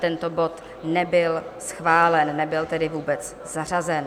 Tento bod nebyl schválen, nebyl tedy vůbec zařazen.